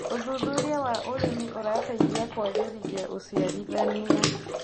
Ũthũthũrĩa wa ũrĩmĩ ũrateĩthĩa kũagĩrĩthĩa ũcĩarĩthanĩa